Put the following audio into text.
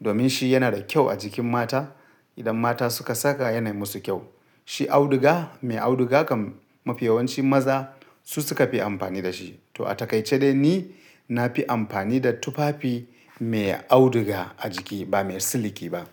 Domin shi yana da kyau a jikin mata. Idan mata suka saka yanai musu kyau. Shi auduga, mai auduga kam mafi yawancin maza su suka fi amfani da shi. To a takaice dai ni na fi amfani da tufafi mai auduga a jiki ba mai siliki ba.